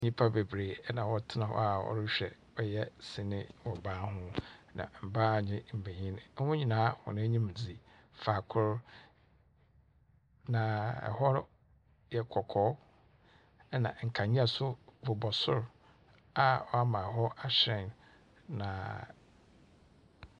Nnipa nenree na wɔtena hɔ a wɔrehwɛ ɔyɛ sini wɔ ban ho, na mbaa ne mbenyin, hɔn nyinaa hɔn enyim dzi faakor, na hɔ yɛ kɔkɔɔ, ɛnna nkanea nso bobɔ soro a ama hɔ ahyerɛn, na .